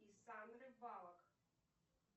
и сандры баллок